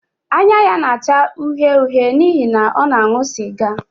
Anya ya na-acha uhie uhie n’ihi na ọ na-aṅụ sịga